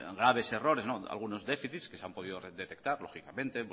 graves errores algunos déficit que se han podido detectar lógicamente